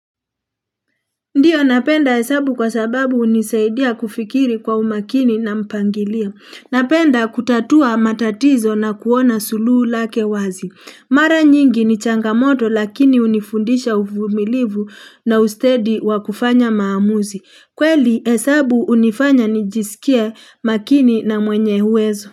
Ndiyo, napenda hesabu kwa sababu hunisaidia kufikiri kwa umakini na mpangilio. Napenda kutatua matatizo na kuona suluhu lake wazi. Mara nyingi ni changamoto. Lakini hunifundisha uvumilivu na ustedi wa kufanya maamuzi. Kweli. Hesabu hunifanya nijisikie makini na mwenye uwezo.